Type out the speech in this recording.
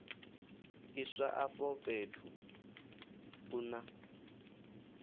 iswa afho fhethu u na